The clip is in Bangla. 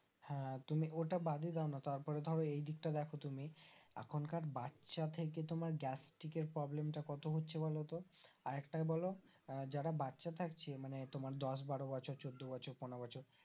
হ্যাঁ তুমি ওটা বাদে দেওনা তারপরে ধরো এইদিক টা দেখো তুমি এখনকার বাচ্চা থেকে তোমার গ্যাস্টিকের Problem টা কত হচ্ছে বলো তো আর একটা বলো যারা বাচ্চা থাকছে মানে তোমার দশ বারো বছর চোদ্দ বছর পনেরো বছর